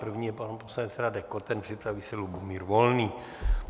První je pan poslanec Radek Koten, připraví se Lubomír Volný.